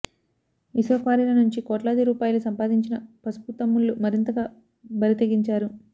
ఇసుక క్వారీల నుంచి కోట్లాదిరూపాయలు సంపాదించిన పసుపు తమ్ముళ్లు మరింతగా బరితెగించారు